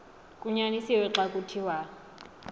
kunyanisiwe xa kuthiwa